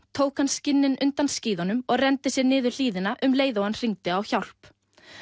tók hann skinnin undan skíðunum og renndi sér niður hlíðina um leið og hann hringdi á hjálp